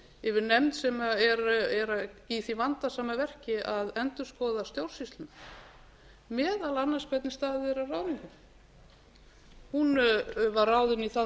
yfir nefnd sem er í því vandasama verki að endurskoða stjórnsýsluna meðal annars hvernig staðið er að ráðningum hún var ráðin í það mál